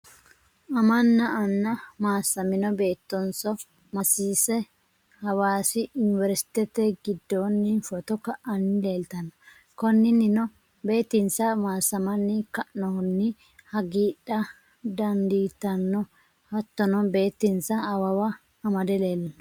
Amanna anna, maasamino beetonso maasiise hawassi iniveriste gidooni fotto ka'anni leelitano, koninino beetinsa maasamanni ka'nohunni hagiidha danfitanno hattonno beeti'nsa awawa amade leellano